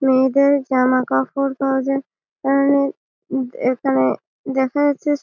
মেয়েদের জামা কাপড় পাওয়া যায়। আর এখানে দেখা যাচ্ছে--